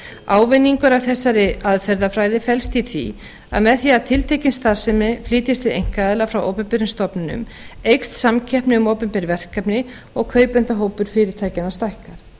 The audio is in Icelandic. ávinningur af þessari aðferðafræði felst í því að með því að tiltekin starfsemi flytjist til einkaaðila frá opinberum stofnunum eykst samkeppni um opinber verkefni og kaupendahópur fyrirtækjanna stækkar